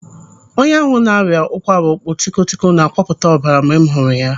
Onye ahụ na-arịa ụkwara ọkpọtikọtikọ na-akwapụta ọbara mgbe m hụrụ ya.